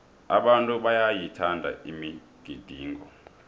abantu bayayithanda imigidingo